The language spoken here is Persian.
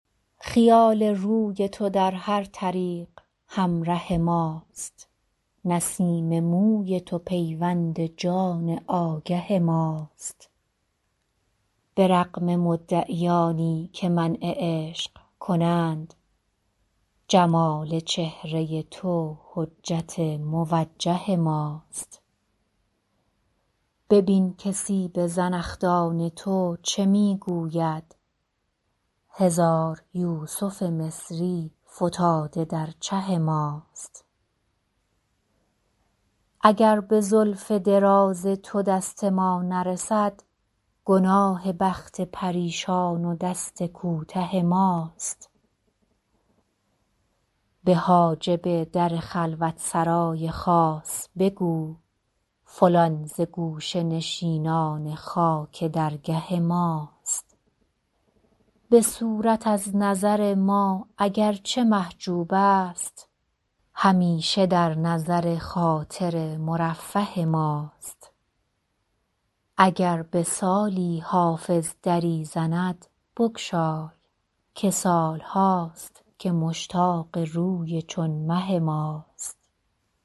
خیال روی تو در هر طریق همره ماست نسیم موی تو پیوند جان آگه ماست به رغم مدعیانی که منع عشق کنند جمال چهره تو حجت موجه ماست ببین که سیب زنخدان تو چه می گوید هزار یوسف مصری فتاده در چه ماست اگر به زلف دراز تو دست ما نرسد گناه بخت پریشان و دست کوته ماست به حاجب در خلوت سرای خاص بگو فلان ز گوشه نشینان خاک درگه ماست به صورت از نظر ما اگر چه محجوب است همیشه در نظر خاطر مرفه ماست اگر به سالی حافظ دری زند بگشای که سال هاست که مشتاق روی چون مه ماست